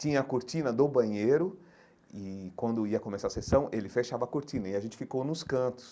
Tinha a cortina do banheiro e, quando ia começar a sessão, ele fechava a cortina e a gente ficou nos cantos.